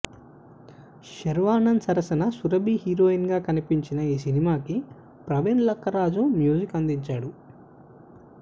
శర్వానంద్ సరసన సురభి హీరోయిన్ గా కనిపించిన ఈ సినిమాకి ప్రవీణ్ లక్కరాజు మ్యూజిక్ అందించాడు